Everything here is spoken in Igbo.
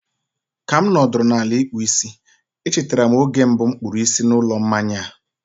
ka m nọdụrụ ala ịkpụ isi, e chetara m oge mbụ m kpụrụ isi n'ụlọ mmanya a.